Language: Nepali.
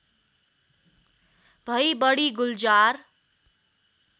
भई बढी गुल्जार